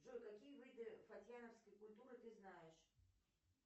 джой какие виды фатьяновской культуры ты знаешь